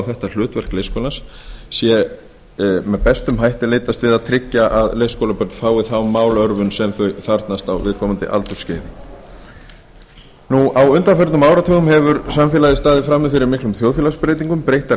þetta hlutverk leikskólans sé með sem bestum hætti leitast við að tryggja að leikskólabörn fái þá málörvun sem þau þarfnast á viðkomandi aldursskeiði á undanförnum áratugum hefur samfélagið staðið frammi fyrir miklum þjóðfélagsbreytingum breyttar